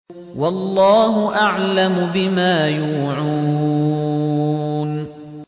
وَاللَّهُ أَعْلَمُ بِمَا يُوعُونَ